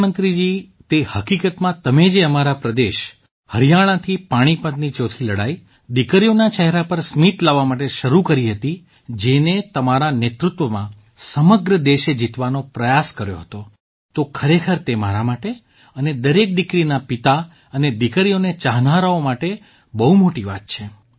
પ્રધાનમંત્રીજી તે હકીકતમાં તમે જે અમારા પ્રદેશ હરિયાણાથી પાણીપતની ચોથી લડાઈ દીકરીઓના ચહેરા પર સ્મિત લાવવા માટે શરૂ કરી હતી જેને તમારા નેતૃત્વમાં સમગ્ર દેશે જીતવાનો પ્રયાસ કર્યો હતો તો ખરેખર તે મારા માટે અને દરેક દીકરીના પિતા અને દીકરીઓને ચાહનારાઓ માટે બહુ મોટી વાત છે